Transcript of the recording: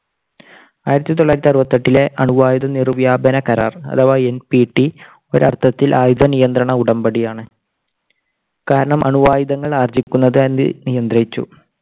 ആയിരത്തി തൊള്ളായിരത്തി അറുപത്തി എട്ടിലെ അണ്വായുധ നിർവ്യാപന കരാർ അഥവാ NPT ഒരർത്ഥത്തിൽ ആയുധ നിയന്ത്രണ ഉടമ്പടിയാണ്. കാരണം അണ്വായുധങ്ങൾ ആർജ്ജിക്കുന്നത് അത് നിയന്ത്രിച്ചു.